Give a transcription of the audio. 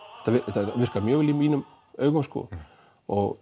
það virkar mjög vel í mínum augum og